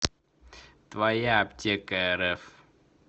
твояаптекарф